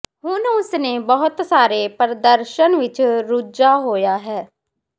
ਹੁਣ ਉਸ ਨੇ ਬਹੁਤ ਸਾਰੇ ਪ੍ਰਦਰਸ਼ਨ ਵਿੱਚ ਰੁੱਝਾ ਹੋਇਆ ਹੈ